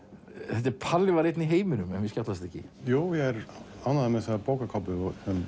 þetta er Palli var einn í heiminum ef mér skjátlast ekki ég er ánægður með þessa bókarkápu